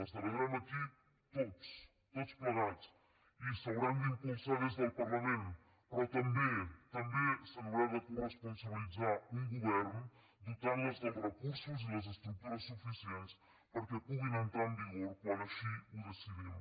la celebrarem aquí tots tots plegats i s’hauran d’impulsar des del parlament però també també se n’haurà de coresponsabilitzar un govern dotant les dels recursos i les estructures suficients perquè puguin entrar en vigor quan així ho decidim